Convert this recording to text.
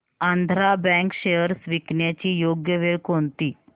Andhra bank shares विकण्याची योग्य वेळ कोणती